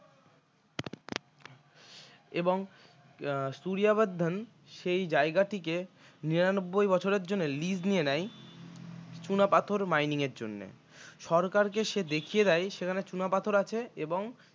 এবং উম সূরিয়া বর্ধন সেই জায়গাটিকে নিরানব্বই বছরের জন্য lease নিয়ে নেয়। চুনাপাথর mining এর জন্য সরকারকে সে দেখিয়ে দেয় সেখানে চুনাপাথর আছে এবং